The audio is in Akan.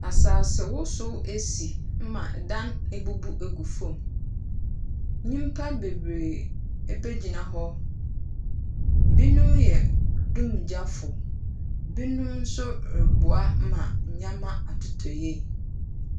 Asase wosow esi ma dan ebubu egu fam. Nyimpa bebree abegyina hɔ. Binom yɛ dumgyafo, binom nso reboa ma nyeɛma atotɔ yie.